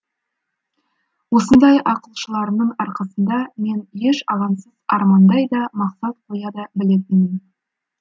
осындай ақылшыларымның арқасында мен еш алаңсыз армандай да мақсат қоя да білетінмін